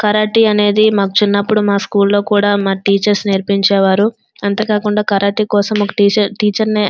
మా బడిలో మాకు కరాటే నేరించే వాలు మాకు ఒక టీచర్ ఉండేది.